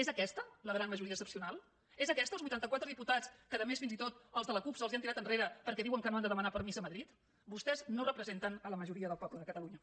és aquesta la gran majoria excepcional és aquesta els vuitanta quatre diputats que a més fins i tot els de la cup se’ls han tirat enrere perquè diuen que no han de demanar permís a madrid vostès no representen la majoria del poble de catalunya